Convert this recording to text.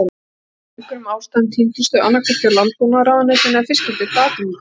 Af einhverjum ástæðum týndust þau, annað hvort hjá Landbúnaðarráðuneytinu eða Fiskideild Atvinnudeildar